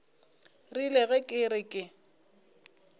rile ge ke re ke